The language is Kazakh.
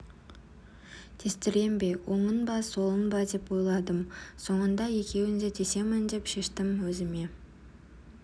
тестірем бе оңын ба солын ба деп ойладым соңында екеуін де тесемін деп шештім өзіме